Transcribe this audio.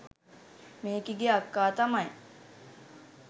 මේකිගේ අක්කා තමයි